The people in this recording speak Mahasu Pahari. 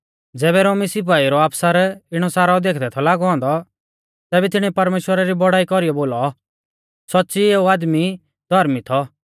ज़ैबै रोमी सिपाईउ रौ आफसर इणौ सारौ देखदै थौ लागौ औन्दौ तैबै तिणीऐ परमेश्‍वरा री बौड़ाई कौरीयौ बोलौ सौच़्च़ी एऊ आदमी धौर्मी थौ